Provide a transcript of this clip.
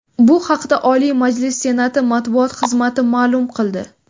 Bu haqda Oliy Majlis Senati matbuot xizmati ma’lum qildi .